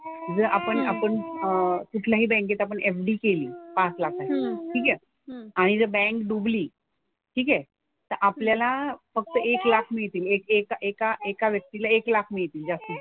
जर आपण आपण अह कुठल्याही बँकेत आपण FD केली, पाच लाखाची. ठीक आहे? आणि जर बँक डुबली. ठीक आहे? तर आपल्याला फक्त एक लाख मिळतील. एक एक एका एका व्यक्तीला एक लाख मिळतील जास्तीत जास्त.